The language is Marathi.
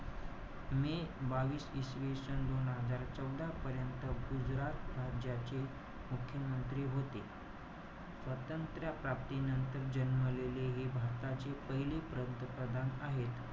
मे बावीस इसवीसन दोन हजार चौदा पर्यंत, गुजरात राज्याचे मुख्यमंत्री होते. स्वतंत्र प्राप्तीनंतर जन्मलेले हे, भारताचे पहिले पंतप्रधान आहे.